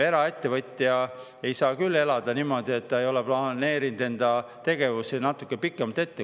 Eraettevõtja ei saa küll niimoodi elada, et ta ei ole planeerinud enda tegevust natuke pikemalt ette.